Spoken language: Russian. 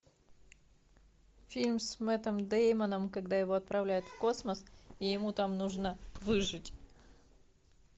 фильм с мэттом деймоном когда его отправляют в космос и ему там нужно выжить